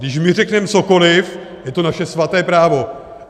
Když my řekneme cokoliv, je to naše svaté právo.